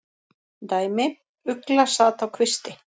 Dæmi: Ugla sat á kvisti.